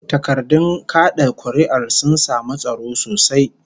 Takardun kad'a kuri'ar sun samu tsaro sosai